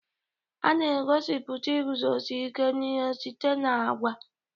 A na-egosipụta iguzosi ike n'ihe site na agwa